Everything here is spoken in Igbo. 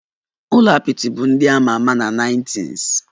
Ụlọ apịtị bụ ndị a ma ama na nineties